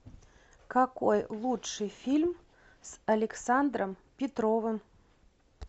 какой лучший фильм с александром петровым